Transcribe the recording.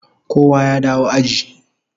Kowa ya dawo aji